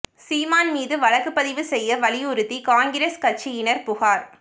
சீமான் மீது வழக்குப் பதிவு செய்ய வலியுறுத்தி காங்கிரஸ் கட்சியினா் புகாா்